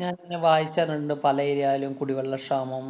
ഞാന്‍ ഇങ്ങനെ വായിച്ചറിഞ്ഞിണ്ട് പല area ലും കുടിവെള്ളക്ഷാമം